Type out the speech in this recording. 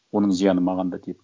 оның зияны маған да тиеді